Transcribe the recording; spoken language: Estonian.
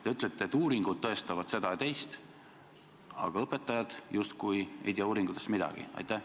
Te ütlete, et uuringud tõestavad seda ja teist, aga õpetajad ei tea uuringutest justkui midagi.